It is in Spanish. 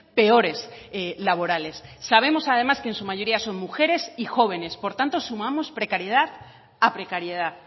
peores laborales sabemos además que en su mayoría son mujeres y jóvenes por tanto sumamos precariedad a precariedad